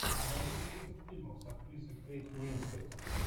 найди список фильмов с актрисой кейт уинслет